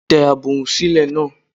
Tẹ agbohùn sílẹ̀ náà!